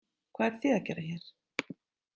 Hvað eruð þið að gera hér?